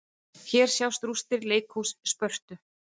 Hér sjást rústir leikhúss í Spörtu.